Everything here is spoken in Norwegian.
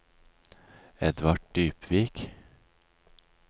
Edvard Dybvik